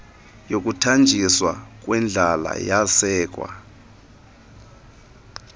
yokudanjiswa kwendlala yasekwa